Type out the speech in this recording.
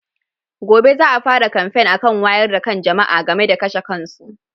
Gobe za a fara kamfen akan wayar da kan jama'a game da kashe kansu.